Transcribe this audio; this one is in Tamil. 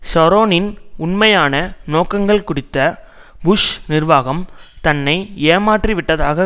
ஷரோனின் உண்மையான நோக்கங்கள் குறித்த புஷ் நிர்வாகம் தன்னை ஏமாற்றி விட்டதாக